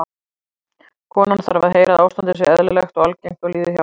Konan þarf að heyra að ástandið sé eðlilegt og algengt og líði hjá.